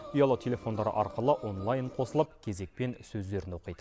ұялы телефондары арқылы онлайн қосылып кезекпен сөздерін оқиды